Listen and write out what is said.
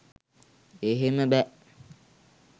එහෙම බෑ